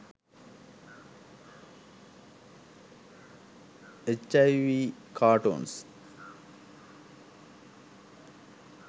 hiv cartoons